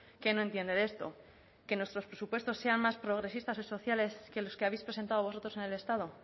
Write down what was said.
qué no entiende de esto que nuestros presupuestos sean más progresistas y sociales que los que habéis presentado vosotros en el estado